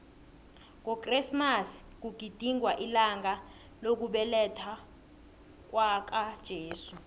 ngokresimasi kugidingwa ilanga lokubelethwakwaka jesu